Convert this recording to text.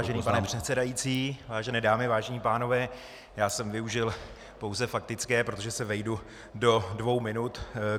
Vážený pane předsedající, vážené dámy, vážení pánové, já jsem využil pouze faktické, protože se vejdu do dvou minut.